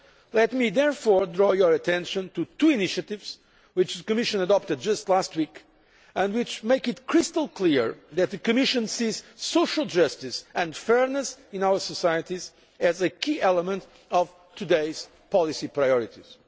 Let me therefore draw your attention to two initiatives which the Commission adopted just last week and which make it crystal clear that the Commission regards social justice and fairness in our societies as a key element of today's policy priorities.